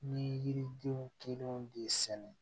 Ni yiridenw kelenw de sɛnɛ